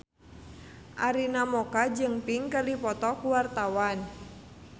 Arina Mocca jeung Pink keur dipoto ku wartawan